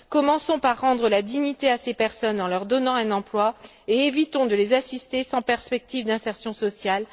Commençons par rendre la dignité à ces personnes en leur donnant un emploi et évitons de les assister sans perspective d'insertion sociale.